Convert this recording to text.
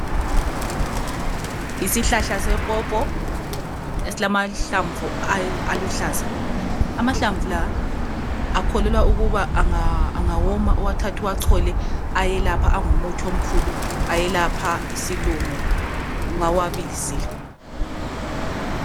Yisihlahla sepopo esilamahlamvu aluhlaza. Amahlamvu la akholelwa ukuba angawoma uwathathe uwachole ayelapha angumuthi omkhulu ayelapha isilumo nxa uwabilisile.